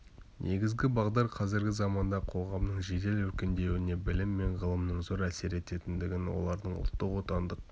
негізгі бағдар қазіргі заманда қоғамның жедел өркендеуіне білім мен ғылымның зор әсер ететіндігін олардың ұлттық отандық